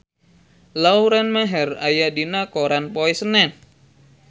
Lauren Maher aya dina koran poe Senen